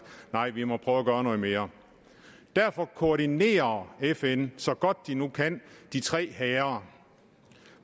nej vi må prøve at gøre noget mere derfor koordinerer fn så godt de nu kan de tre hære